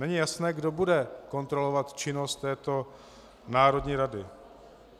Není jasné, kdo bude kontrolovat činnost této národní rady.